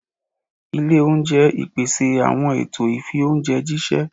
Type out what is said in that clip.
ilé oúnjẹ ipese awọn ẹtọ ifi oúnjẹ jiṣẹ.